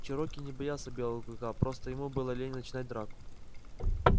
чероки не боялся белого клыка просто ему было лень начинать драку